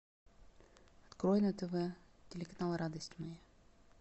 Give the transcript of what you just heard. открой на тв телеканал радость моя